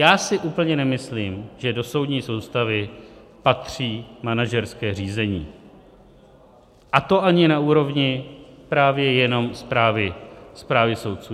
Já si úplně nemyslím, že do soudní soustavy patří manažerské řízení, a to ani na úrovni právě jenom správy soudců.